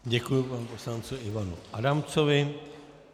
Děkuji panu poslanci Ivanu Adamcovi.